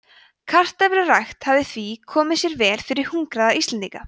kartöflurækt hefði því komið sér vel fyrir hungraða íslendinga